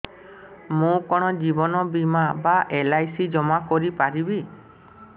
ମୁ କଣ ଜୀବନ ବୀମା ବା ଏଲ୍.ଆଇ.ସି ଜମା କରି ପାରିବି